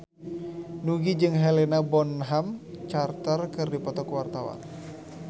Nugie jeung Helena Bonham Carter keur dipoto ku wartawan